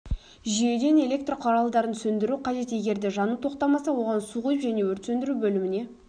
жүйеден электр құралдарын сөндіру қажет егерде жану тоқтамаса оған су құйып және өрт сөндіру бөліміне